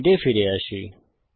slide এ ফিরে আসি